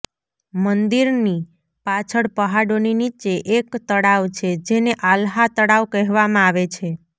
મંદિરની પાછળ પહાડોની નીચે એક તળાવ છે જેને આલ્હા તળાવ કહેવામાં આવે છે